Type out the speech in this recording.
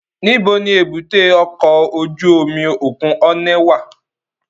Nibo ni èbúté ọkọ ojú omi okun Onne wa?